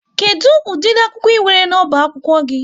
Kedụ ụdịri akwụkwọ ị nwere n'ọba akwụkwọ gị?